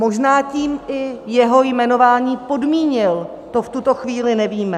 Možná tím i jeho jmenování podmínil, to v tuto chvíli nevíme.